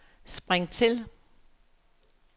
spring til